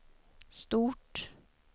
stort